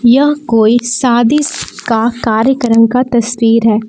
यह कोई शादी का कार्यक्रम का तस्वीर है।